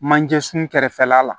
Manje sun kɛrɛfɛla la